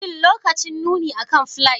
Shin lokacin nuni akan fliers